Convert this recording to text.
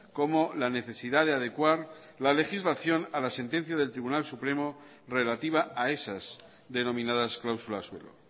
como la necesidad de adecuar la legislación a la sentencia del tribunal supremo relativa a esas denominadas cláusulas suelo